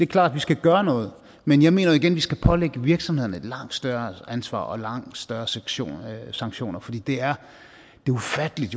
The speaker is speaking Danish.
klart at vi skal gøre noget men jeg mener jo igen at vi skal pålægge virksomhederne et langt større ansvar og langt større sanktioner sanktioner for det er jo ufatteligt